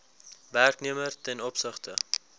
werknemer ten opsigte